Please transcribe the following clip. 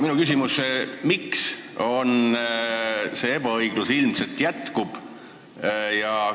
Minu küsimus on: miks see ebaõiglus ilmselt jätkub?